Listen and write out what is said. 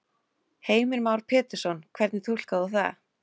Heimir Már Pétursson: Hvernig túlkar þú það?